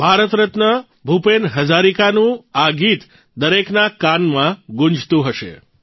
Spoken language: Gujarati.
ભારત રત્ન ભૂપેન હજારિકાજીનું આ ગીત દરેકના કાનમાં ગુંજતું હશે